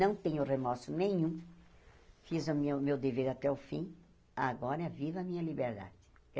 Não tenho remorso nenhum, fiz o meu meu dever até o fim, agora viva a minha liberdade.